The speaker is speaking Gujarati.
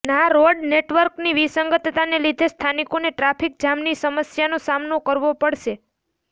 ના રોડ નેટવર્કની વિસંગતતાને લીધે સ્થાનિકોને ટ્રાફિક જામની સમસ્યાનો સામનો કરવો પડશે